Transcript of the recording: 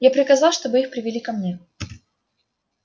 я приказал чтобы их привели ко мне